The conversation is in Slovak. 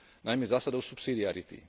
najmä zásadou subsidiarity.